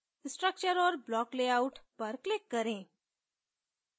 structure और block layout पर click करें